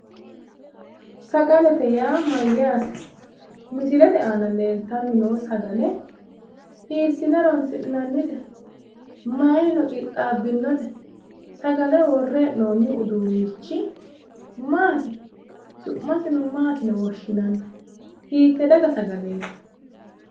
Sagalete yaa mayaate?,misilete aana leltanni noo Sagale hiisine horonsi'nanite?, mayiinino qixaabinote? Sagale wore he'nooni uduunichi maati? Su'masino maati yine woshinanni hitee daga sagaleeti?